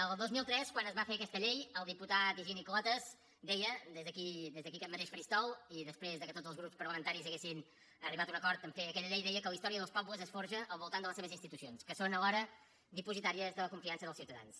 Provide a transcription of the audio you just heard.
el dos mil tres quan es va fer aquesta llei el diputat higini clotas deia des d’aquí aquest mateix faristol i després que tots els grups parlamentaris havien arribat a un acord a fer aquella llei que la història dels pobles es forja al voltant de les seves institucions que són alhora dipositàries de la confiança dels ciutadans